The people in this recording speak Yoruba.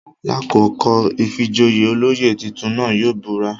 Lakoko ìfijoyé, oloyè titun náa yóò bura